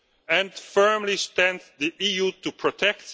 And firmly stands the EU to protect?